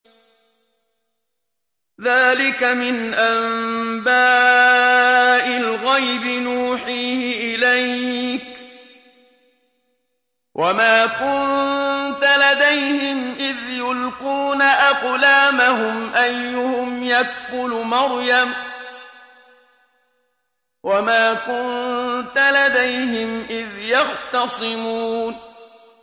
ذَٰلِكَ مِنْ أَنبَاءِ الْغَيْبِ نُوحِيهِ إِلَيْكَ ۚ وَمَا كُنتَ لَدَيْهِمْ إِذْ يُلْقُونَ أَقْلَامَهُمْ أَيُّهُمْ يَكْفُلُ مَرْيَمَ وَمَا كُنتَ لَدَيْهِمْ إِذْ يَخْتَصِمُونَ